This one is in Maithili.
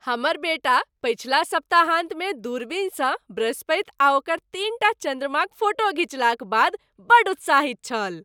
हमर बेटा पछिला सप्ताहान्तमे दूरबीनसँ बृहस्पति आ ओकर तीनटा चन्द्रमाक फोटो घिचलाक बाद बड़ उत्साहित छल।